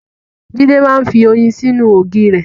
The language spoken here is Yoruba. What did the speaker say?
Jídé máa ń fi oyin sínú ògì re.